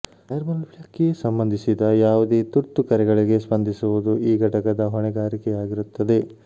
ನೈರ್ಮಲ್ಯಕ್ಕೆ ಸಂಬಂಧಿಸಿದ ಯಾವುದೇ ತುರ್ತು ಕರೆಗಳಿಗೆ ಸ್ಪಂದಿಸುವುದು ಈ ಘಟಕದ ಹೊಣೆಗಾರಿಕೆಯಾಗಿರುತ್ತದೆ